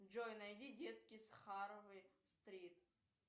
джой найди детки с харвей стрит